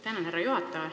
Tänan, härra juhataja!